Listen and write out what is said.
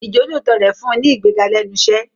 Ìjọ́lóòótọ́ rẹ̀ fún un ní ìgbéga lẹ́nu iṣẹ́.